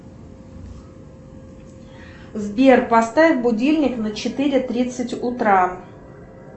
сбер поставь будильник на четыре тридцать утра